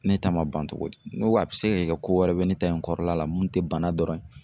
Ne ta ma ban togo di , ne ko a be se ka kɛ ko wɛrɛ be ne ta in kɔrɔla la mun te bana in dɔrɔn ye.